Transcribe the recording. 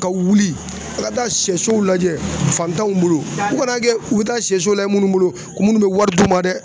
Ka wuli ka taa sɛsow lajɛ fantanw bolo u kana kɛ u bɛ taa sɛsow lajɛ munnu bolo u munnu be wari d'u ma dɛ